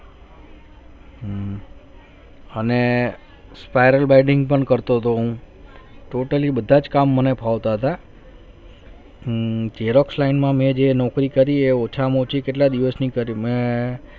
અને spiral biading પણ કરતો હતો હું totally બધા જ કામ મને ફાવતા હતા. xerox line માં મેં જે નોકરી કરીએ ઓછામાં ઓછી કેટલા દિવસની કરી મેં